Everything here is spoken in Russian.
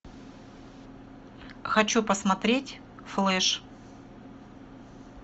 хочу посмотреть флэш